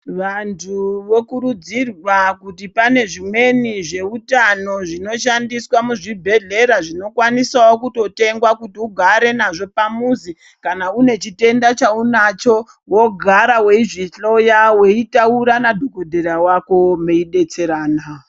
Vantu vokurudzirwa kuti pane zvimweni zveutano zvinoshandiswa muzvibhedhlera zvinokwanisawo kutotengwa kuti ugare nazvo pamuzi kana unechitenda chaunacho wogara weizvihloya weitaura nadhokodhera wako mwei betsera a.